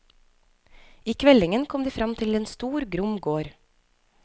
I kveldingen kom de fram til en stor, grom gård.